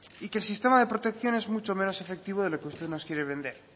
y que el sistema de protección es mucho menos efectivo de lo que usted nos quiere vender